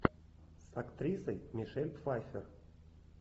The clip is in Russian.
с актрисой мишель пфайффер